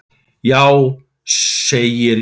Já, segir Júlía.